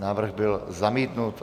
Návrh byl zamítnut.